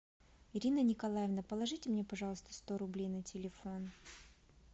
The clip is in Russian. ирина николаевна положите мне пожалуйста сто рублей на телефон